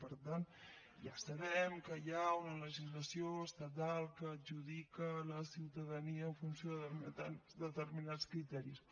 per tant ja sabem que hi ha una legislació estatal que adjudica la ciutadania en funció de determinats criteris